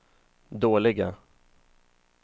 dåliga